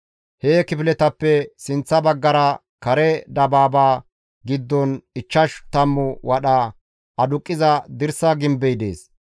He kifiletappe sinththa baggara, kare dabaaba giddon ichchash tammu wadha aduqqiza dirsa gimbey dees.